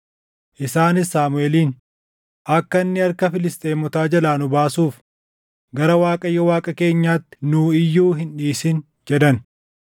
Isaanis Saamuʼeeliin, “Akka inni harka Filisxeemotaa jalaa nu baasuuf gara Waaqayyo Waaqa keenyaatti nuu iyyuu hin dhiisin” jedhan.